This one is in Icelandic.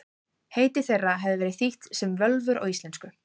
Heiti þeirra hefur verið þýtt sem völvur á íslensku.